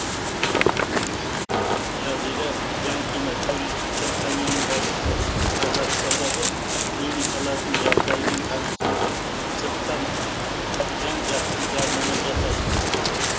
жазира жанкина туристік компанияның басшысы қазақстандағы клиникалардың жағдайымен танысқан соң сырттан жан жақты жарнама жасаймыз